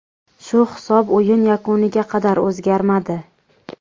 Shu hisob o‘yin yakuniga qadar o‘zgarmadi.